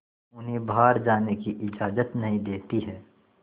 उन्हें बाहर जाने की इजाज़त नहीं देती है